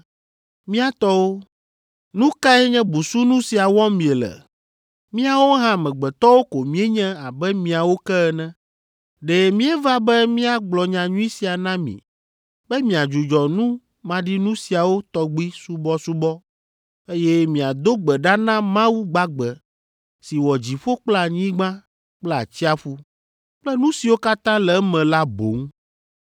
“Mía tɔwo, nu kae nye busunu sia wɔm miele? Míawo hã amegbetɔwo ko míenye abe miawo ke ene. Ɖe míeva be míagblɔ nyanyui sia na mi be miadzudzɔ nu maɖinu siawo tɔgbi subɔsubɔ, eye miado gbe ɖa na Mawu gbagbe si wɔ dziƒo kple anyigba kple atsiaƒu kple nu siwo katã le eme la boŋ.